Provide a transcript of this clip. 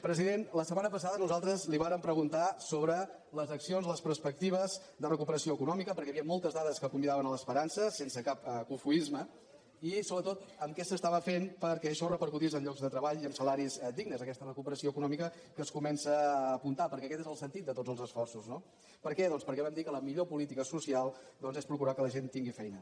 president la setmana passada nosaltres li vàrem preguntar sobre les accions les perspectives de recuperació econòmica perquè hi havia moltes dades que convidaven a l’esperança sense cap cofoisme i sobretot què s’estava fent perquè això repercutís en llocs de treball i en salaris dignes aquesta recuperació econòmica que es comença a apuntar perquè aquest és el sentit de tots els esforços no per què doncs perquè vam dir que la millor política social és procurar que la gent tingui feina